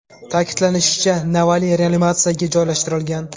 Ta’kidlanishicha, Navalniy reanimatsiyaga joylashtirilgan.